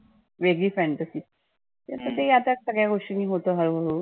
वेगळी fantasy तसं ते आता सगळ्या गोष्टी होतं हळू हाळू